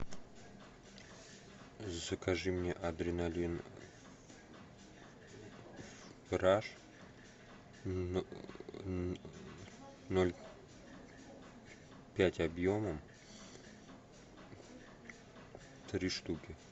закажи мне адреналин раш ноль пять объемом три штуки